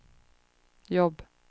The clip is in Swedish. jobb